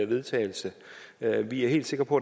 vedtagelse vi er helt sikre på